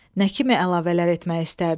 nə kimi əlavələr etmək istərdin?